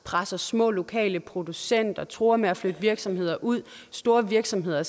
presser små lokale producenter man truer med at flytte virksomheder ud og store virksomheder